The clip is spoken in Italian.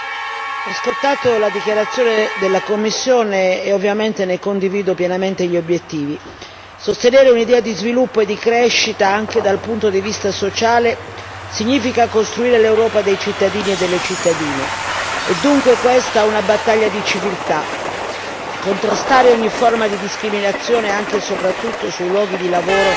Signora Presidente, onorevoli colleghi, ho ascoltato la dichiarazione della Commissione e ovviamente ne condivido pienamente gli obiettivi. Sostenere un'idea di sviluppo e di crescita anche dal punto di vista sociale significa costruire l'Europa dei cittadini e delle cittadine, è dunque questa una battaglia di civiltà contrastare ogni forma di discriminazione anche soprattutto sui luoghi di lavoro,